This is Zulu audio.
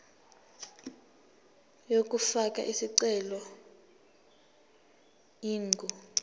yokufaka isicelo ingu